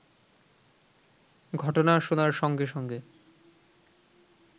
ঘটনা শোনার সঙ্গে সঙ্গে